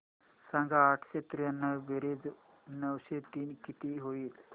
सांग आठशे त्र्याण्णव बेरीज नऊशे तीन किती होईल